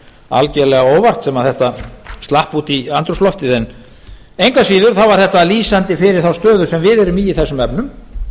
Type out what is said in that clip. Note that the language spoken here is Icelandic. algjörlega óvart sem slapp út í andrúmsloftið en engu að síður var þetta lýsandi fyrir þá stöðu sem við erum í í þessum efnum